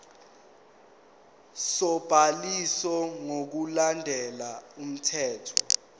sobhaliso ngokulandela umthetho